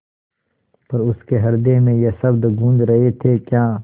पर उसके हृदय में ये शब्द गूँज रहे थेक्या